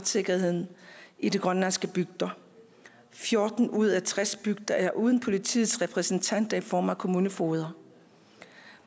sikkerheden i de grønlandske bygder fjorten ud af tres bygder er uden politiets repræsentanter i form af kommunefogeder